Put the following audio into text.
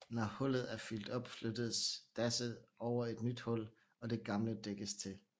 Når hullet er fyldt op flyttes dasset over et nyt hul og det gamle dækkes til